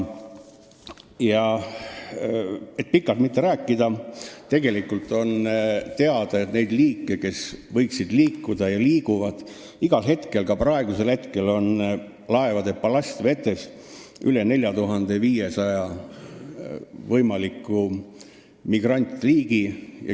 Et mitte pikalt rääkida, siis tegelikult on teada, et neid võimalikke migrantliike, kes võiksid liikuda ja liiguvad igal hetkel, ka praegu, on laevade ballastvetes üle 4500.